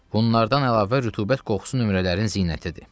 Bunlardan əlavə rütubət qorxusu nömrələrin zinətidir.